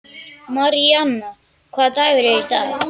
Maríanna, hvaða dagur er í dag?